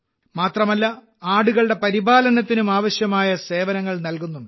മാത്രമല്ല ആടുകളുടെ പരിപാലനത്തിനും ആവശ്യമായ സേവനങ്ങൾ നൽകുന്നുണ്ട്